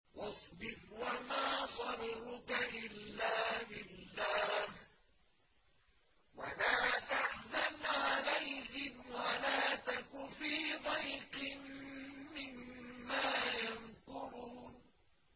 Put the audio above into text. وَاصْبِرْ وَمَا صَبْرُكَ إِلَّا بِاللَّهِ ۚ وَلَا تَحْزَنْ عَلَيْهِمْ وَلَا تَكُ فِي ضَيْقٍ مِّمَّا يَمْكُرُونَ